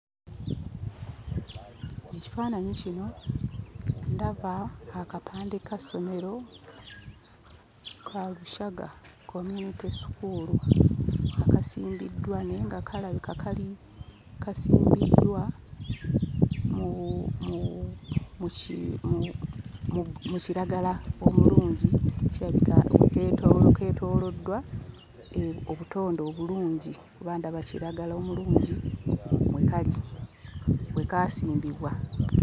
Ekifaananyi kino ndaba akapande ka ssomero Kalushaga Community school kasimbiddwa naye nga kalabika kali kasimbiddwa mu bu mu bu mu ki mu bu mu kiragala omulungi. Kirabika keetoolo keetooloddwa obutonde obulungi kuba ndaba kiragala omulungi mwe kali mwe kaasimbibwa